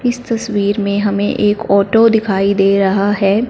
इस तस्वीर में हमें एक ऑटो दिखाई दे रहा है।